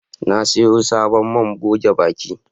Na siyo sabon man goge baki